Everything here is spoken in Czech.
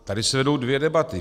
Tady se vedou dvě debaty.